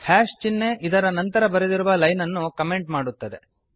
hash ಚಿಹ್ನೆ ಇದರ ನಂತರ ಬರೆದಿರುವ ಲೈನನ್ನು ಕಾಮೆಂಟ್ ಮಾಡುತ್ತದೆ